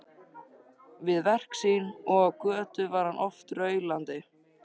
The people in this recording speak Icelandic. Við verk sín og á götu var hann oft raulandi.